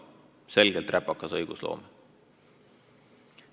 Selgelt räpakas õigusloome!